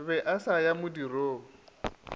be a sa ya modirong